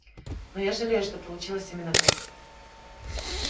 но я жалею что получилось именно так